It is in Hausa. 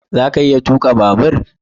Za ka iya tuka babur?